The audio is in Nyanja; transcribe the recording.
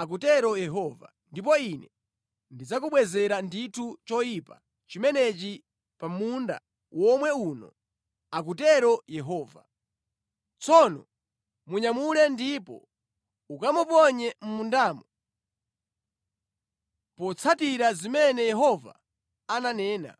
akutero Yehova, ndipo Ine ndidzakubwezera ndithu choyipa chimenechi pa munda womwe uno, akutero Yehova.’ Tsono munyamule ndipo ukamuponye mʼmundamo, potsatira zimene Yehova ananena.”